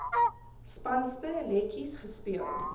spanspe letjies gespeel